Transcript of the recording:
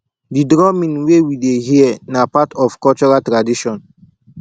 di drumming wey we dey hear na part of cultural tradition